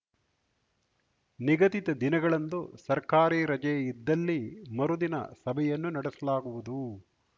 ನಿಗದಿತ ದಿನಗಳಂದು ಸರ್ಕಾರಿ ರಜೆ ಇದ್ದಲ್ಲಿ ಮರುದಿನ ಸಭೆಯನ್ನು ನಡೆಸಲಾಗುವುದು